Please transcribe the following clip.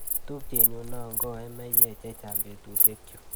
Tupchenyu noo koe meyek checheng' betushiekchu.